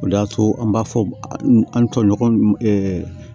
O de y'a to an b'a fɔ an tɔɲɔgɔn